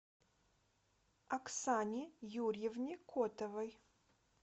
оксане юрьевне котовой